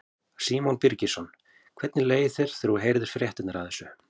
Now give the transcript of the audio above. Símon Birgisson: Hvernig leið þér þegar þú heyrðir fréttirnar af þessu?